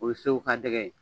O ye Segu ka dɛgɛ ye.